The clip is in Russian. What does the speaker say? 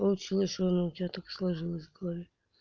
получилось что ну у тебя так сложилось в голове